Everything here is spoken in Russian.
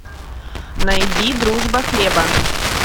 найди дружба хлеба